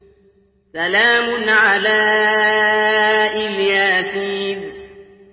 سَلَامٌ عَلَىٰ إِلْ يَاسِينَ